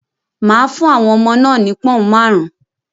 Maa fún àwọn ọmọ náà ni pọ̀ọ̀un máarun